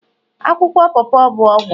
akwụkwọ pawpaw bụ ọgwụ